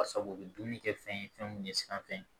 Basa u be dumuni kɛ fɛn ye fɛn min ye siran fɛn ye